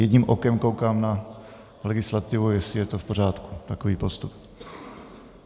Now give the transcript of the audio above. Jedním okem koukám na legislativu, jestli je to v pořádku, takový postup.